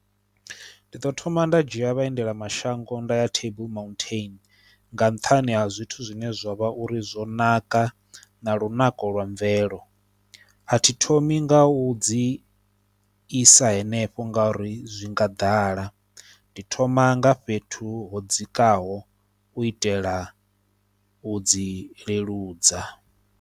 Ndi ḓo thoma nda dzhia vhaendela mashango nda ya Table Mountain nga nṱhani ha zwithu zwine zwa vha uri zwo naka na lunako lwa mvelo, a thi thomi nga u u dzi i sa henefho nga uri zwi nga ḓala ndi thoma nga fhethu ho dzikaho u itela u dzi leludza.